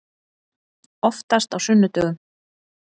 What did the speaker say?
Oftast á sunnudögum.